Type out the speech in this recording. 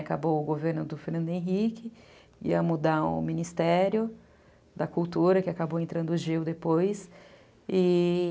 Acabou o governo do Fernando Henrique, ia mudar o Ministério da Cultura, que acabou entrando o Gil depois.